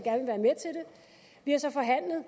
vi har så forhandlet